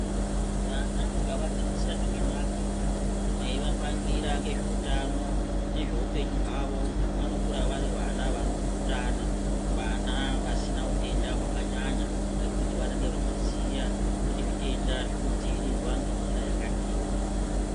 vana mukavadzidzisa zvakanaka meivapangira nezvehutano nehupenyu hwavo vanokura vari vana vanokutana vana vasina hutenda hwakanyanya nekuti vanenge vachiziva kuti zvitenga zvinodzivirirwa ngenzira yakadini.